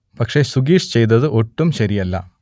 പക്ഷേ സുഗീഷ് ചെയ്തത് ഒട്ടും ശരിയല്ല